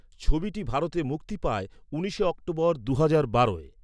ছবিটি ভারতে মুক্তি পায় উনিশে অক্টোবর দুহাজার বারোয়।